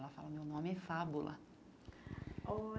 Ela fala, meu nome é Fábula.